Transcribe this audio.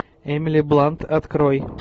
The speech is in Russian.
эмили блант открой